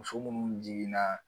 Muso munnu jiginna